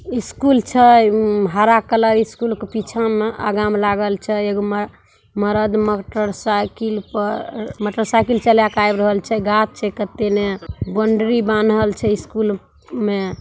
school छै हरा colour school के पीछा मे अगा मे लागल छै एगो मरद मोटरसाइकिल पर मोटरसाइकिल चला के आब रहल छै गाछ छै कते ने ---